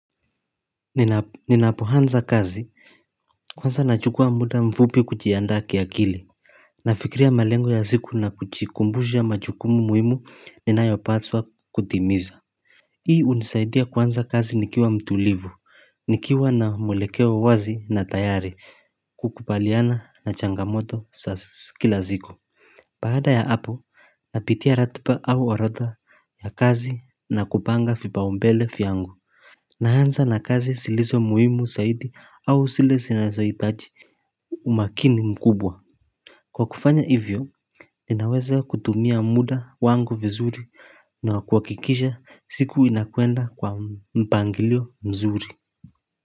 Ninapoanza kazi kwanza nachukua muda mfupi kujiandaa kiakili Nafikria malengo ya siku na kujikumbusha majukumu muhimu inayopaswa kutimiza Hii hunisaidia kuanza kazi nikiwa mtulivu nikiwa na mwelekeo wazi na tayari kukubaliana na changamoto za kila siku Baada ya hapo Napitia ratiba au orodha ya kazi na kupanga vipaumbele vyangu Naanza na kazi zilizo muhimu zaidi au zile zinazohitaji umakini mkubwa Kwa kufanya hivyo ninaweza kutumia muda wangu vizuri na kuhakikisha siku inakwenda kwa mpangilio mzuri.